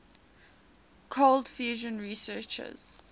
cold fusion researchers